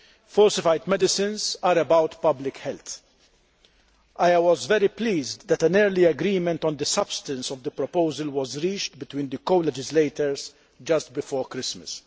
Falsified medicines are about public health. I was very pleased that an early agreement on the substance of the proposal was reached between the colegislators just before Christmas.